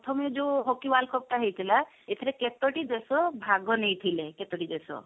ପ୍ରଥମେ ଯୋ hockey world cup ଟା ହେଇଥିଲା ଏଥିରେ କେତୋଟି ଦେଶ ଭାଗ ନେଇଥିଲେ କେତୋଟି ଦେଶ